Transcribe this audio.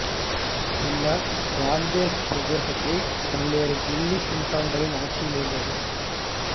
பின்னர் காந்தேஷ் பிரதேசத்தை பல்வேறு தில்லி சுல்தான்களின் ஆட்சியில் இருந்தது